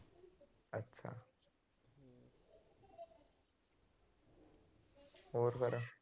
ਹੋਰ ਫੇਰ।